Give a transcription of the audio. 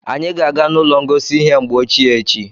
Anyị ga-aga n'ụlọ ngosi ihe mgbe ochie echi.